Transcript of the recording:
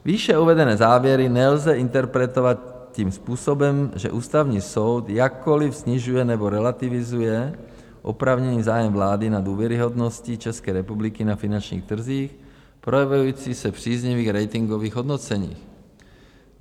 Výše uvedené závěry nelze interpretovat tím způsobem, že Ústavní soud jakkoli snižuje nebo relativizuje oprávněný zájem vlády na důvěryhodnosti České republiky na finančních trzích, projevující se v příznivých ratingových hodnoceních.